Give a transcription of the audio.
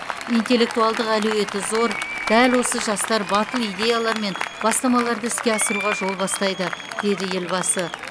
интеллектуалдық әлеуеті зор дәл осы жастар батыл идеялар мен бастамаларды іске асыруға жол бастайды деді елбасы